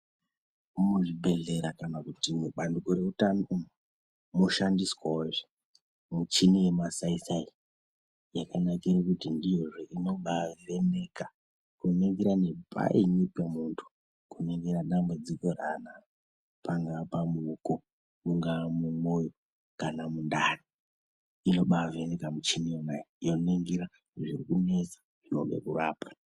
Muzvibhedhlera kana kuti mubandiko remutano mwoshandiswawozve muchini yemasai sai Yakanakire kuti ndiyozve inobavheneka kuningira nepaini pemuntu kuningira dambudziko raanaro pangaa pamooko mungaa mumwoyo kana mundani inobaa vheneka muchini yonayo yoningira zviri kunetsa zvone kurapwa .